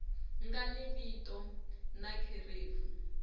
nga ni vito na kherefu